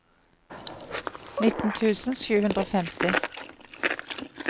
nitten tusen sju hundre og femti